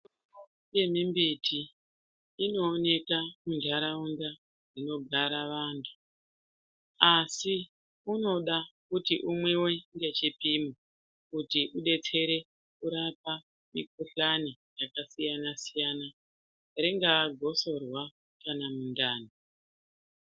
Mbiti inowoneka muntaraunda dzinogara vantu asi unoda kuti unwiwe ngechipimo kuti udetsere kurapa mikuhlane yakasiyana siyana, ringave gosorwa kana mundani.